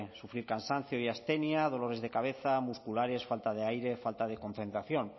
sufrir cansancio y abstenía dolores de cabeza musculares falta de aire falta de concentración